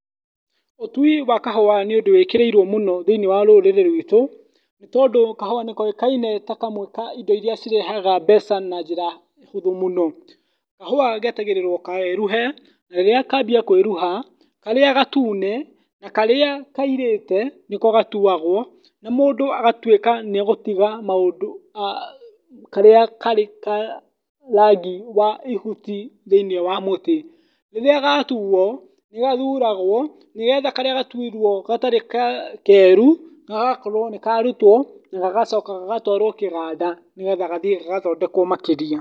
Ũtui wa kahũa nĩ ũndũ wĩkĩrĩirwo mũno thĩinĩ wa rũrĩrĩ rwĩtũ. Nĩ tondũ kahũa nĩkoĩkaine ta kamwe ka indo iria irehaga mbeca na njĩra hũthũ mũno. Kahũa getagĩrĩrwo keruhe rĩrĩa kambia kwĩruha karĩa gatune na karĩa kairĩte nĩko gatuagwo na mũndũ agatuĩka nĩegũtiga karĩa karĩ ka rangi wa ihuti thĩinĩ wa mũtĩ. Rĩrĩa gatuo nĩgathuragwo ĩgetha karĩa gatuirwo gatarĩ keru gagakorwo nĩkarutwo na gagacoka gagatwarwo kĩganda nĩgetha gathiĩ gagathondekwo makĩria.